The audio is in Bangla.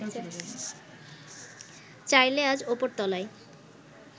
চাইলে আজ ওপরতলায়